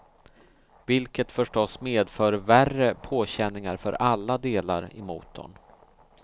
Vilket förstås medför värre påkänningar för alla delar i motorn.